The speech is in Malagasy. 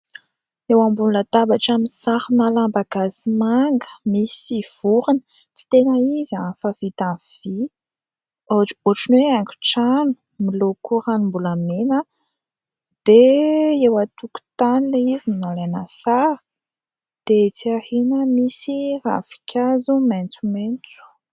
Eo o ambony latabatra misarona lamba gasy manga, misy vorona tsy tena izy fa vita amin'ny vy. Ohatran'ny hoe haingon-trano miloko ranom-bolamena dia eo an-tokotany ilay izy no nalaina sary dia etsy aoriana misy ravinkazo maitsomaitso.